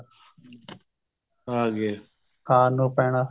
ਆ ਗਿਆ ਖਾਣ ਨੂੰ ਪੈਣਾ